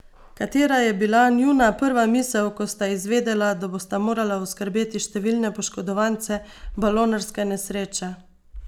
Katera je bila njuna prva misel, ko sta izvedela, da bosta morala oskrbeti številne poškodovance balonarske nesreče?